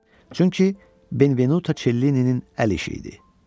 Çünki Benvenuto Çellininin əl işi idi.